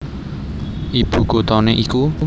Ibu kuthané iku